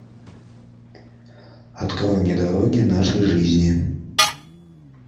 открой мне дороги нашей жизни